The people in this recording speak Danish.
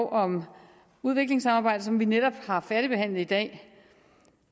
om udviklingssamarbejdet som vi netop har færdigbehandlet i dag